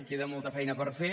queda molta feina per fer